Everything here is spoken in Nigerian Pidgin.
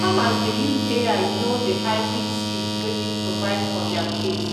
farmers dey use ai know the hybrid seed wey fit survive for their place